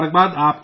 پرنام جی